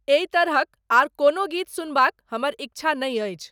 एहि तरहक आओर कोनो गीत सुनबाक हमर इच्छा नै अछि